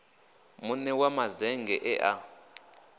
mune wa mazennge e a